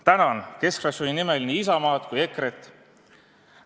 Tänan keskfraktsiooni nimel nii Isamaad kui ka EKRE-t.